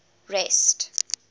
rest